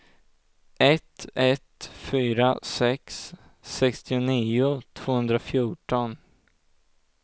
ett ett fyra sex sextionio tvåhundrafjorton